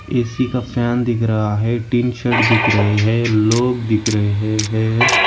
AC का fan दिख रहा है टीन शेड दिख रहे हैं लोग दिख रहे हैं।